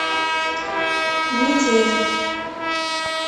метель